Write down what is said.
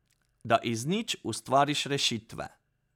Da iz nič ustvariš rešitve.